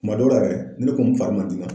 Kuma dɔw la yɛrɛ ne kun fari man di n na.